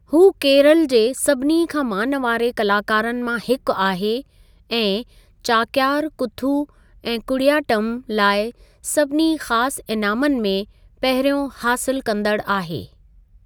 हू केरल जे सभिनी खां मानवारे कलाकारनि मां हिकु आहे ऐं चाक्यार कूथु ऐं कुडियाट्टम लाइ सभिनी ख़ास इनामनि मे पहिरियों हासिलु कंदड़ु आहे।